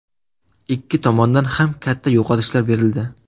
Ikki tomondan ham katta yo‘qotishlar berildi.